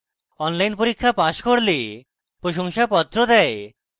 online পরীক্ষা pass করলে প্রশংসাপত্র দেয়